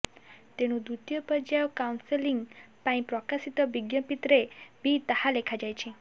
ତେଣୁ ଦ୍ୱିତୀୟ ପର୍ଯ୍ୟାୟ କାଉନସେଲିଂ ପାଇଁ ପ୍ରକାଶିତ ବିଜ୍ଞପ୍ତିରେ ବି ତାହା ଲେଖାଯାଇଛି